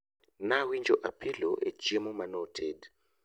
nawinjo apilo e chiemo manotedo